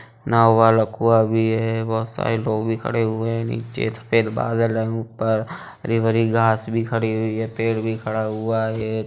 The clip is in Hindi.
नव वलकुवा भी है। बहुत सारे लोग खड़े हुए हैं निचे। सफ़ेद बादल भी है ऊपर हरी भरी घास भी खड़ी हुई है। पेड़ भी खड़ा हुआ है।